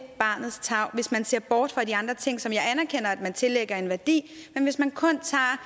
barnets tarv hvis man ser bort fra de andre ting som jeg anerkender at man tillægger en værdi men hvis man kun tager